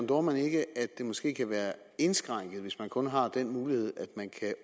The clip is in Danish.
dohrmann ikke at det måske kan være indskrænket hvis man kun har den mulighed